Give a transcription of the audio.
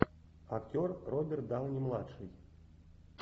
актер роберт дауни младший